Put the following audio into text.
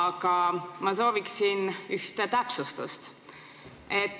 Aga ma sooviksin ühte täpsustust.